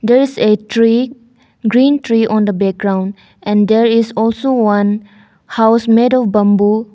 There is a tree green tree on the background and there is also one house made of bamboo.